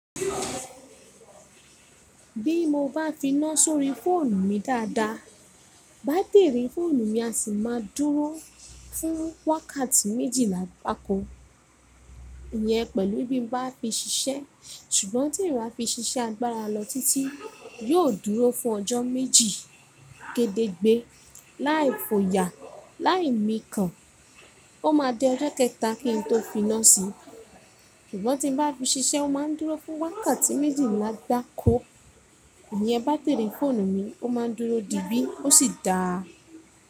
Bí mo bá fi ná sórí fóònù mi dáadáa, bátìrì fóònù mi a sì máa dúró fún wákàtí méjìlá gbáko. Ìyẹn pẹ̀lú bí mo bá fi ṣiṣẹ́, ṣùgbọ́n tí n bá fi ṣiṣẹ́ agbára lọ títí, yóò dúró fún ọjọ́ méjì gédégbé. Láì fo ya, láì mí kan, ó máa dẹ ọjọ́ kẹta kí n tó fi ná sí i. Ṣùgbọ́n tí n bá fi ṣiṣẹ́, ó máa ń dúró fún wákàtí méjìlá gbáko. Ìyẹn bátìrì fóònù mi, ó máa ń dúró dí bí, ó sì dáa.